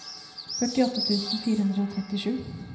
førtiåtte tusen fire hundre og trettisju